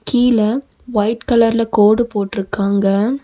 கீழ ஒயிட் கலர்ல கோடு போட்ருக்காங்க.